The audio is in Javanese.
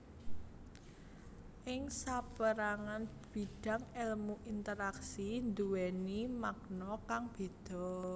Ing sapérangan bidang èlmu interaksi nduwèni makna kang béda